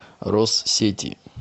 россети